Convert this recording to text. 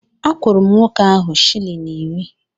Akwụrụ m nwoke ahụ shịlin iri